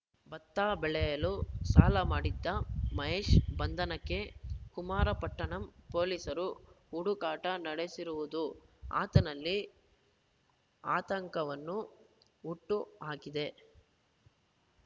ಬತ್ತ ಬೆಳೆಯಲು ಸಾಲ ಮಾಡಿದ್ದ ಮಹೇಶ್‌ ಬಂಧನಕ್ಕೆ ಕುಮಾರಪಟ್ಟಣಂ ಪೊಲೀಸರು ಹುಡುಕಾಟ ನಡಸಿರುವುದು ಆತನಲ್ಲಿ ಆತಂಕವನ್ನು ಹುಟ್ಟು ಹಾಕಿದೆ